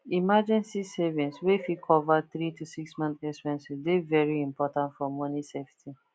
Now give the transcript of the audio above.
emergency savings wey fit cover 3 to 6 months expense dey very important for money safety